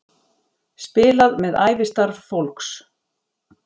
Spilað með ævistarf fólks